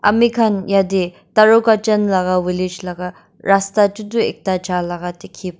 ami khan yate taru kachan laga village laga rasta teh tu ekta gal laga dekhi pai.